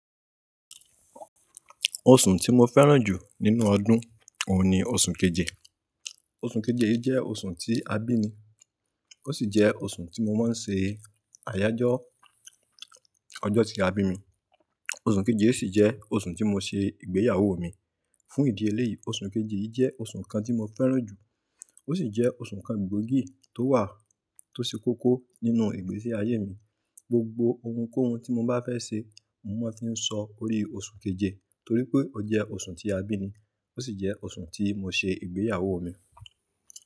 Oṣù tí mo fẹ́ràn jù nínú ọdún òun ni oṣù keje. Oṣù keje yìí jẹ́ oṣù tí a bí mi, ó sì jẹ́ oṣù tí mo máa ń ṣe àyájọ́ ọjọ́ tí a bí mi. Oṣù keje yìí sì jẹ́ oṣù tí mo ṣe ìgbéyàwó mi. Fún ìdí eléyìí, oṣù keje yìí jẹ́ oṣù kan tí mo fẹ́ràn jù. Ó sì jẹ́ oṣù kan gbòógì tó wà tó ṣe kókó nínú ìgbésí ayé mi. Gbogbo ohunkóhun tí mo bá fẹ́ ṣe, mo máa fi ń sọ orí oṣù keje torí pé ó jẹ́ oṣù tí a bí mi, ó sì jẹ́ oṣù tí mo ṣe ìgbéyàwó mi.